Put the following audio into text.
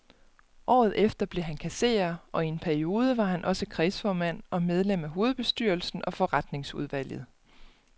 Året efter blev han kasserer, og i en periode var han også kredsformand og medlem af hovedbestyrelsen og forretningsudvalget.